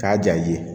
K'a ja i ye